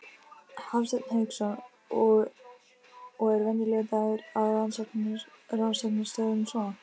Hafsteinn Hauksson: Og er venjulegur dagur á rannsóknarstofunni svona?